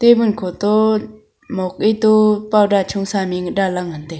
table khoto mok e to powder chosa mik danla ngan taiga.